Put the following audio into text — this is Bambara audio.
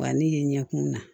Wa ne ye ɲɛkun na